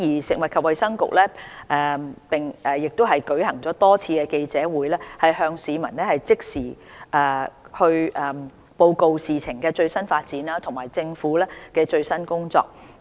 食物及衞生局亦舉行了多次記者會，向市民即時報告事情的最新發展及政府的最新工作。